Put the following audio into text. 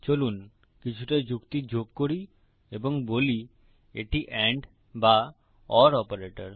চলুন কিছুটা যুক্তি যোগ করি এবং বলি এটি এন্ড বা ওর অপারেটর